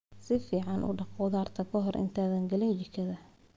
Si fiican u dhaq khudaarta ka hor intaadan gelin jikada.